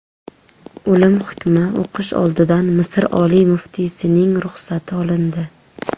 O‘lim hukmi o‘qish oldidan Misr oliy muftiysining ruxsati olindi.